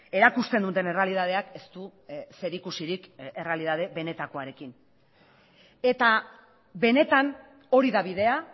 erakusten duten errealitateak ez du zerikusirik errealitate benetakoarekin eta benetan hori da bidea